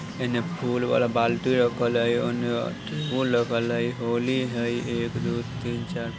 एने फूल वाला बाल्टी रखल हई ओने उ रखल हई होली हई एक-दो-तीन-चार।